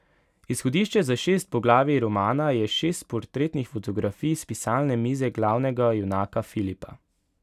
Izhodišče za šest poglavij romana je šest portretnih fotografij s pisalne mize glavnega junaka Filipa.